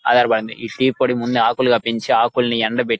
ఆధారపడివుంది ఈ టీ పొడి ముందు ఆకులుగ పెంచి ఆకులుని ఎండబెట్టి --